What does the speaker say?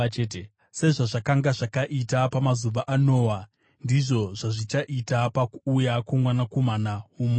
Sezvazvakanga zvakaita pamazuva aNoa, ndizvo zvazvichaita pakuuya kwoMwanakomana woMunhu.